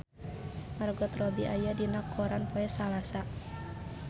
Margot Robbie aya dina koran poe Salasa